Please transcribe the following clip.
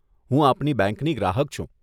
હું આપની બેંકની ગ્રાહક છું.